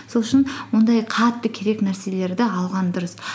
сол үшін ондай қатты керек нәрселерді алған дұрыс